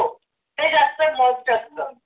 हे जास्त must असतं